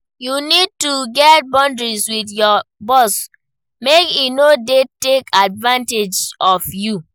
You need to set boundary with your boss, make e no dey take advantage of you.